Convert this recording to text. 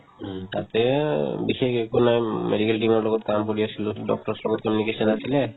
উম, তাতে বিশেষ একো নাই medical team ৰ লগত কাম কৰি আছিলো doctor ৰ লগত চিনাকি আছিলে